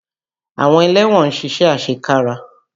Àwọn ẹlẹ́wọ̀n ń ṣiṣẹ́ àṣekára.